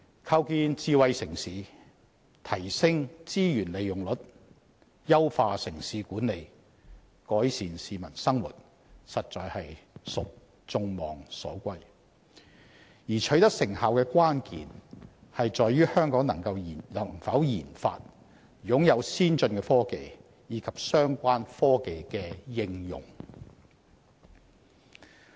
構建智慧城市、提升資源利用率、優化城市管理、改善市民生活實屬眾望所歸，而取得成效的關鍵在於香港能否研發、擁有先進科技，以及相關科技的應用。